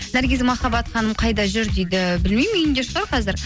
наргиз махаббат ханым қайда жүр дейді білмеймін үйінде шығар қазір